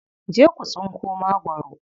Je ku tsinko magwaro.